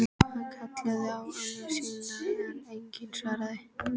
Hann kallaði á ömmu sína en enginn svaraði.